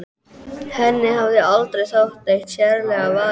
Henni hafði aldrei þótt neitt sérlega varið í hann.